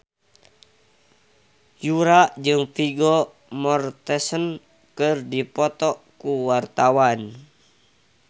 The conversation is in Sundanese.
Yura jeung Vigo Mortensen keur dipoto ku wartawan